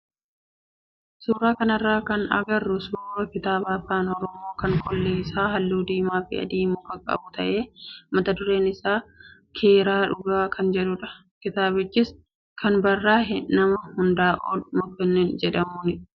Suuraa kanarraa kan agarru suuraa kitaaba afaan oromoo kan qolli isaa halluu diimaa fi adii makaa qabu ta'ee mata dureen isaa "Keeraa Dhugaa" kan jedhudha. Kitaabichis kan barraaye nama Hundaa'ol Mokonnin jedhamuuni.